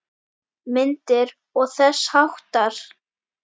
Myndir og þess háttar.